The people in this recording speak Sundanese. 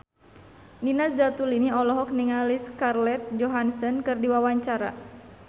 Nina Zatulini olohok ningali Scarlett Johansson keur diwawancara